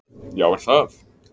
Já er það!